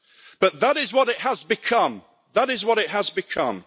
But that is what it has become. That is what it has become.